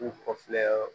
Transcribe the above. U kɔkɔ filɛ